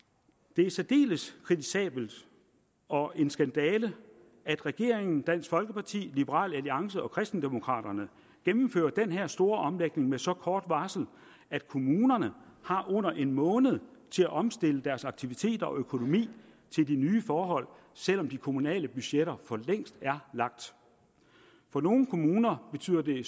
det er særdeles kritisabelt og en skandale at regeringen dansk folkeparti liberal alliance og kristendemokraterne gennemfører den her store omlægning med så kort varsel at kommunerne har under en måned til at omstille deres aktiviteter og økonomi til de nye forhold selv om de kommunale budgetter for længst er lagt for nogle kommuner betyder det